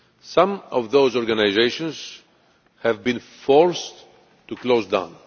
Some of those organisations have been forced to close down.